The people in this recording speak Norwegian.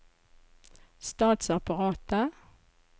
statsapparatet